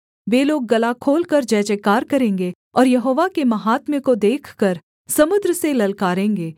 वे लोग गला खोलकर जयजयकार करेंगे और यहोवा के माहात्म्य को देखकर समुद्र से ललकारेंगे